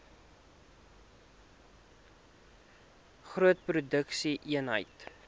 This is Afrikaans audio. groot produksie eenhede